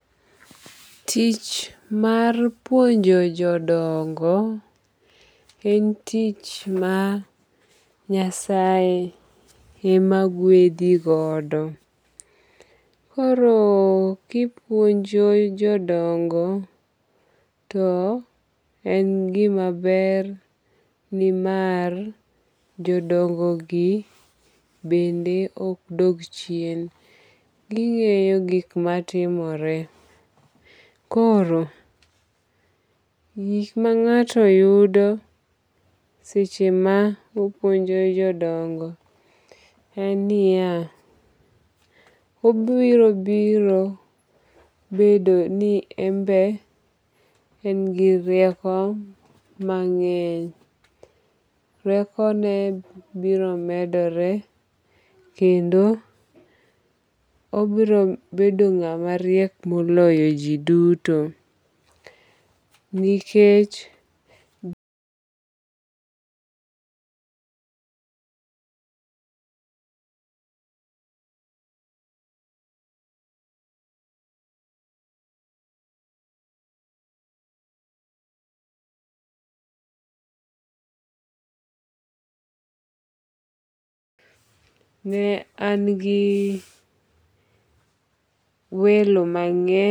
Tich mar puonjo jodongo en tich ma Nyasaye ema gwedhi godo kpro kipuonjo jodongo en gima ber nimar jodongogi bende ok dog chien, ging'eyo gik matimore, ng'ato yudo seche ma opuonjo jodongo en niya, obiro biro bedo ni enbe en gi rieko mang'eny, riekone biro medore kendo obiro bedo ng'at mariek moloyo ji duto. Ne an gi welo mang'eny